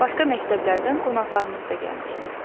Başqa məktəblərdən qonaqlarımız da gəlmişdi.